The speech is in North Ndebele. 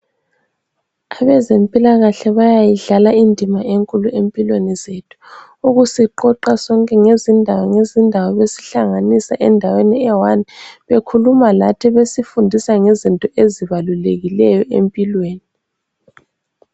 Abezimpilakahle bayayidlala imdima enkulu empilweni zethu. Ukusiqoqa sonke ngezindawo ngezindawo besihlanganisa eyiwani bekhuluma lathi besifundisa ngezinto ezibalulekileyo empilweni.